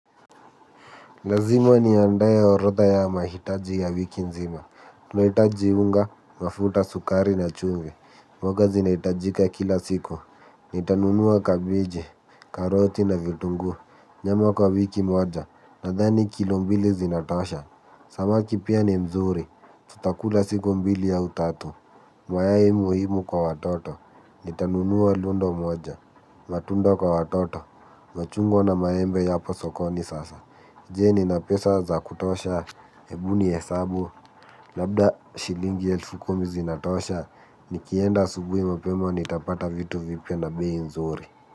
Lazima niandae orotha ya mahitaji ya wiki nzima. Tunahitaji unga, mafuta, sukari na chumvi. Mboga zinahitajika kila siku. Nitanunua kabeji, karoti na vitunguu. Nyama kwa wiki moja, nadhani kilo mbili zinatosha. Samaki pia ni mzuri. Tutakula siku mbili au tatu. Mayai muhimu kwa watoto. Nitanunua lundo moja. Matunda kwa watoto. Machungwa na maembe yapo sokoni sasa. Je, nina pesa za kutosha? Hebu nihesabu. Labda shilingi elfu kumi zinatosha. Nikienda asubuhi mapema nitapata vitu vipya na bei nzuri.